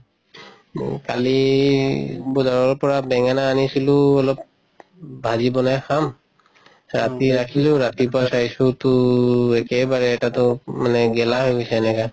কালি বজাৰৰ পৰা বেঙেনা আনিছিলো অলপ বাজি বনাই খাম ৰাতি ৰাখিলো ৰাতিপুৱাই চাইছোটো একেবাৰে এটাতো গেলা হৈ গৈছে এনেকা